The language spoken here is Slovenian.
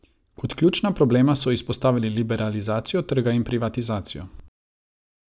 Kot ključna problema so izpostavili liberalizacijo trga in privatizacijo.